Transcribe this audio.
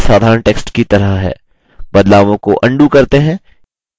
बदलावों को अन्डू करते हैं